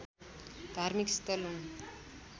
धार्मिक स्थल हुन्